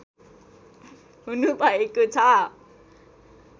हुनुभएको छ